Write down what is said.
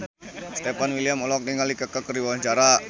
Stefan William olohok ningali Kaka keur diwawancara